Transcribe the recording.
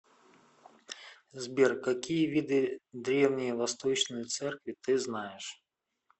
сбер какие виды древние восточные церкви ты знаешь